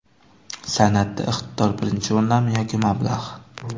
San’atda iqtidor birinchi o‘rindami yoki mablag‘?